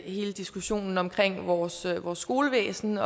hele diskussionen omkring vores vores skolevæsen